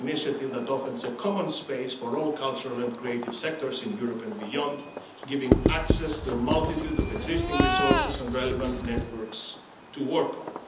is an initiative that offers a common space for all cultural and creative sectors in Europe and beyond, giving access to a multitude of existing resources and relevant networks to work on.